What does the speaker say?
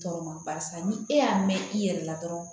Tɔɔrɔ ma barisa ni e y'a mɛn i yɛrɛ la dɔrɔn